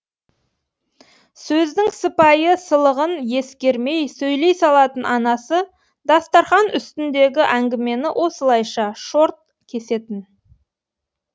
сөздің сыпайы сылығын ескермей сөйлей салатын анасы дастархан үстіндегі әңгімені осылайша шорт кесетін